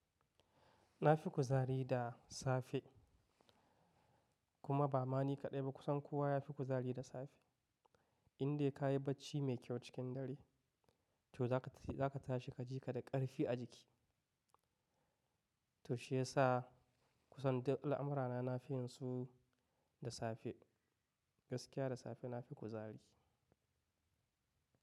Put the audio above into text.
Na fi kuzari da safe kuma ba mani kaɗai ba kusan kowa ya fi kuzari da safe. Indai ka yi bacci mai kyau cikin dare to za ka tashi ka ji ka da ƙarfi a jiki. To shiyasa kusan duk al'amurana na fin su da safe gaskiya da safe na fi kuzari.